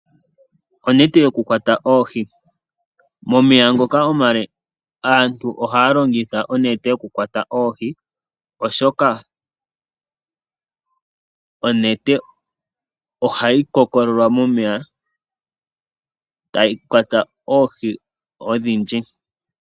Aantu ngele taakwata oohi momeya omale aantu ohaalongitha onete okukwata oohi, oshoka onete ohayi kokololwa yo ohayi kwata oohi odhindji.